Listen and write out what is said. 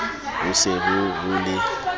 ho se ho ho le